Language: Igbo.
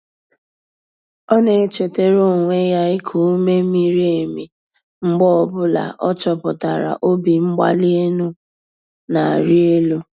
Ọ na-echetara onwe ya iku ume miri emi mgbe ọ bụla ọ chọpụtara obimgbalienu na-arị elu.